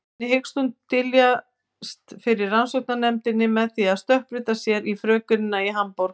Þannig hyggst hún dyljast fyrir rannsóknarnefndinni með því að stökkbreyta sér í frökenina í Hamborg.